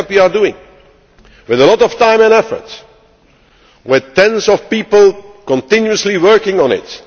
That is what we are doing, with a lot of time and effort, with dozens of people continuously working on